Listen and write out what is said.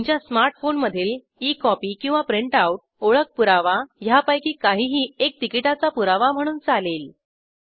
तुमच्या स्मार्ट फोनमधील e copy किंवा प्रिंट आऊट ओळख पुरवा ह्यापैकी काहीही एक तिकीटाचा पुरावा म्हणून चालेल